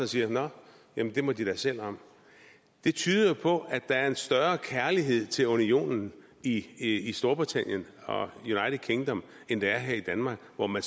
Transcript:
siger nå jamen det må de da selv om det tyder jo på at der er en større kærlighed til unionen i i storbritannien og united kingdom end der er her i danmark hvor man